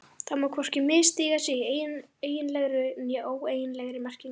Það má hvorki misstíga sig í eiginlegri né óeiginlegri merkingu.